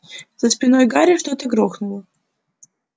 за спиной гарри что-то грохнуло